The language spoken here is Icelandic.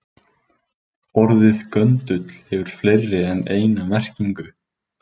Orðið göndull hefur fleiri en eina merkingu.